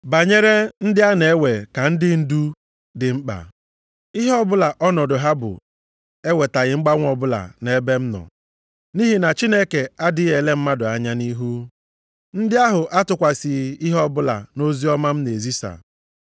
Banyere ndị a na-ewe ka ndị dị ndu dị mkpa, ihe ọbụla ọnọdụ ha bụ ewetaghị mgbanwe ọbụla nʼebe m nọ, nʼihi na Chineke adịghị ele mmadụ anya nʼihu. Ndị ahụ atụkwasịghị ihe ọbụla nʼoziọma m na-ezisa.